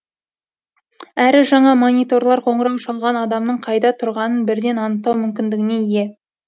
әрі жаңа мониторлар қоңырау шалған адамның қайда тұрғанын бірден анықтау мүмкіндігіне ие